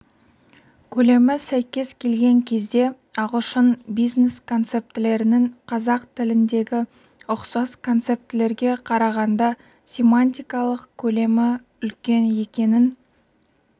көлемі сәйкес келген кезде ағылшын бизнес-концептілерінің қазақ тіліндегі ұқсас концептілерге қарағанда семантикалық көлемі үлкен екенін